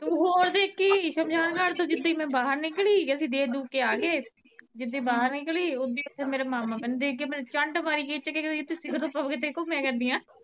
ਤੂੰ ਹੋਰ ਦੇਖੀ ਸ਼ਮਸ਼ਾਨ ਘਾਟ ਤੋਂ ਜਿੱਦਾਂ ਈ ਮੈਂ ਬਾਹਰ ਨਿਕਲੀ ਅਸੀਂ ਦੇਖ ਦੂਖ ਕੇ ਆ ਗਏ ਜਿੱਦਾਂ ਬਾਹਰ ਨਿਕਲੀ ਉਦਾ ਈ ਓਥੇ ਮੇਰਾ ਮਾਮਾ ਮੈਨੂੰ ਦੇਖ ਕੇ ਮੇਰੇ ਚੰਡ ਮਾਰੀ ਖਿੱਚ ਕੇ ਕੇਂਦਾ ਤੁਸੀਂ ਸਿਖਰ ਦੁਪਹਿਰੇ ਕਿੱਥੇ ਘੁਮਿਆ ਕਰਦੀਆਂ